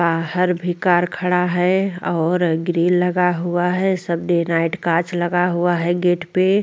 बहार भी कार खड़ा है और ग्रिल लगा हुआ है सब डे नाईट काच लगा हुआ है गेट पे।